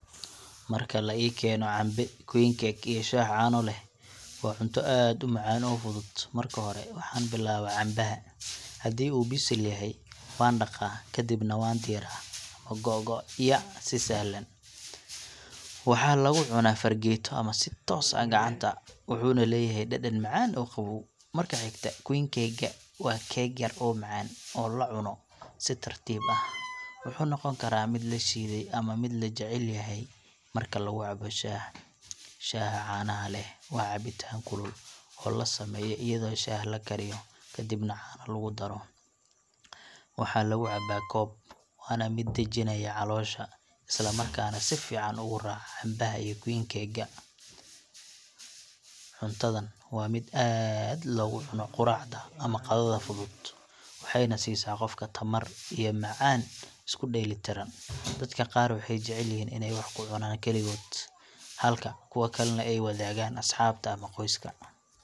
Marka la i keeno cambe, queen cake, iyo shaah caano leh, waa cunto aad u macaan oo fudud. Marka hore, waxaan bilaabaa cambaha. Haddii uu bisil yahay, waan dhaqaa, kadibna waan diiraa ama googo'yaa si sahlan. Waxaa lagu cunaa fargeeto ama si toos ah gacanta, wuxuuna leeyahay dhadhan macaan oo qabow. Marka xigta, queen cake ka, waa keeg yar oo macaan, oo la cuno si tartiib ah. Wuxuu noqon karaa mid la shiiday ama mid la jecel yahay marka lagu cabo shaah. Shaaha caanaha leh, waa cabitaan kulul oo la sameeyo iyadoo shaah la kariyo kadibna caano lagu daro. Waxaa lagu cabaa koob, waana mid dejinaya caloosha isla markaana si fiican ugu raaca cambaha iyo queen cake ka. Cuntadan waa mid aad loogu cuno quraacda ama qadada fudud, waxayna siisaa qofka tamar iyo macaan isku dheelitiran. Dadka qaar waxay jecel yihiin inay wax ku cunaan kaligood, halka kuwa kalena ay wadaagaan asxaabta ama qoyska.